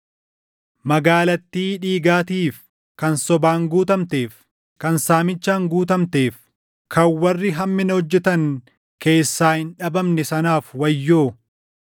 Magaalattii dhiigaatiif, kan sobaan guutamteef, kan saamichaan guutamteef, kan warri hammina hojjetan keessaa // hin dhabamne sanaaf wayyoo!